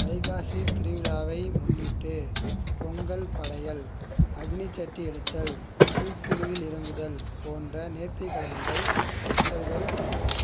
வைகாசி திருவிழாவை முன்னிட்டு பொங்கல் படையல் அக்னிசட்டி எடுத்தல் பூக்குழியில் இறங்குதல் போன்ற நேர்த்திக கடன்கள் பக்தர்கள்